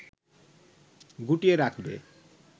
গুটিয়ে রাখবে